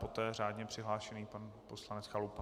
Poté řádně přihlášený pan poslanec Chalupa.